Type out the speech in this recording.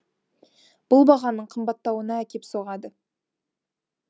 бұл бағаның қымбаттауына әкеп соғады